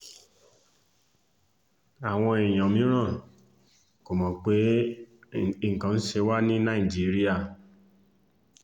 àwọn èèyàn mìíràn kò mọ̀ pé nǹkan ń ṣe wá ní nàìjíríà